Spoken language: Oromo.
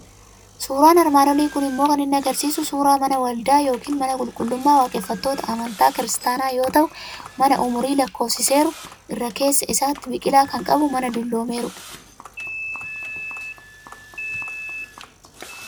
Suuraan armaan olii kun immoo kan inni argisiisu suuraa mana waldaa yookiin mana qulqullummaa waaqeffattoota amantaa Kiristaanaa yoo ta'u, mana umurii lakkoofsiseeru, irra keessa isaatti biqilaa kan qabu, mana dulloomeerudha.